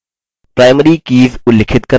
5 primary keys उल्लिखित करना